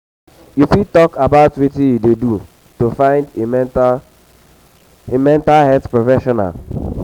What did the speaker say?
you fit talk about wetin you dey do to find a mental a mental health professional?